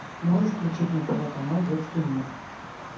можешь включить на тв канал детский мир